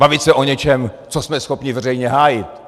Bavit se o něčem, co jsme schopni veřejně hájit.